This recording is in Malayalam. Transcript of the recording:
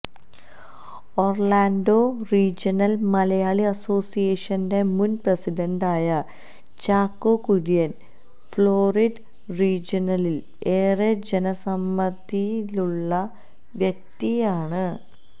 ഒര്ലാണ്ടോ റീജണല് മലയാളി അസോസിയേഷന്റെ മുന് പ്രസിഡന്റായ ചാക്കോ കുര്യന് ഫ്ളോറിഡ റീജണയില് ഏറെ ജനസമ്മിതിയുള്ള വ്യക്തിയാണ്